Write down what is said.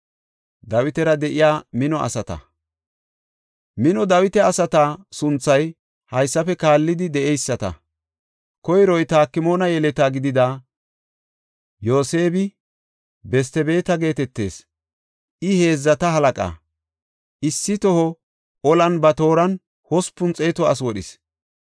Mino Dawita asata sunthay haysafe kaallidi de7eyisata. Koyroy, Takmoona yeleta gidida Yoseeb-Bestibeete geetetees; I heedzata halaqa; issi toho olan ba tooran hospun xeetu asi wodhis.